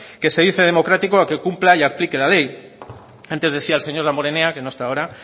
que se dice democrático que cumpla y aplique la ley antes decía el señor damborenea que no está ahora